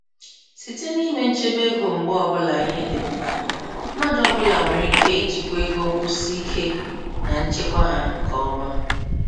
Site n'ime nchebe ego mgba ọbụla ihe dị mkpa, mmadụ ọbụla nwere ike ijikwa ego nkwụsị ike na nchekwa ha nke ọma.